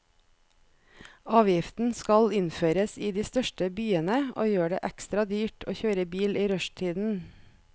Avgiften skal innføres i de største byene og gjør det ekstra dyrt å kjøre bil i rushtiden.